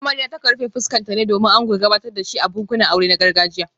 Amarya ta kan rufe fuskarta ne domin ango ya gabatar da shi a bukukuwan aure na gargajiya